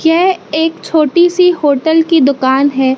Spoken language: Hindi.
यह एक छोटी सी होटल की दुकान है।